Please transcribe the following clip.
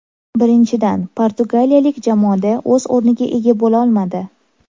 Birinchidan, portugaliyalik jamoada o‘z o‘rniga ega bo‘lolmadi.